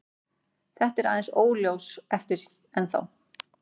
Þetta er aðeins óljóst ennþá.